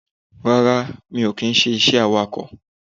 Rárá mi ò kì í se awakọ̀